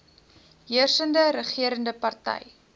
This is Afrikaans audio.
heersende regerende party